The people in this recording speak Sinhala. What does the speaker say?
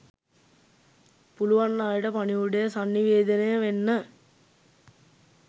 පුලුවන් අයට පණිවුඩය සන්නිවේදනය වෙන්න